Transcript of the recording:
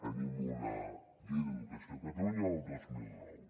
tenim una llei d’educació de catalunya del dos mil nou